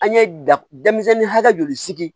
An ye da denmisɛnnin hakɛ joli sigi